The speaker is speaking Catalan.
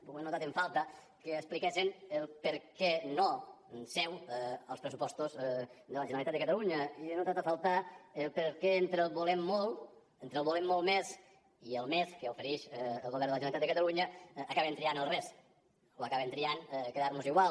o he notat en falta que expliquessen el perquè no seu als pressupostos de la generalitat de catalunya i he notat a faltar el perquè entre el volem molt entre el volem molt més i el més que oferix el govern de la generalitat de catalunya acaben triant el res o acaben triant quedar mos igual